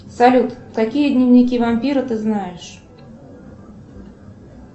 салют какие дневники вампира ты знаешь